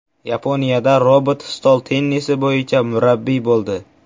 Yaponiyada robot stol tennisi bo‘yicha murabbiy bo‘ldi.